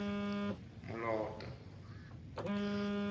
moloto